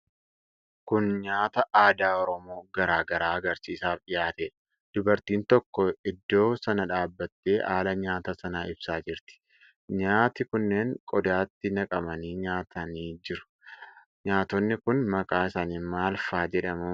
Kun nyaata aadaa Oromoo garaa garaa agarsiisaaf dhiyaatedha. Dubartiin tokko iddo sana dhaabatte haala nyaata sanaa ibsaa jirti. Nyaati kunneen qodaatti naqamanii dhiyaatanii jiru. Nyaatonni kun maqaa isaanii maal faa jedhamu?